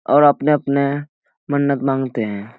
और अपने-अपने मन्नत मांगते है।